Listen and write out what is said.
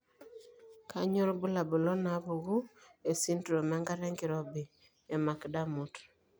Kainyio irbulabul onaapuku esindirom enkata enkirobi eMac Dermot?